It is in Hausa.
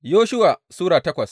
Yoshuwa Sura takwas